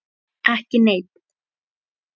Ekki neinn.